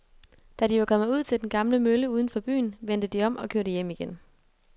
Da de var kommet ud til den gamle mølle uden for byen, vendte de om og kørte hjem igen.